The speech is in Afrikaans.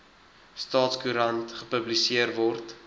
staatskoerant gepubliseer word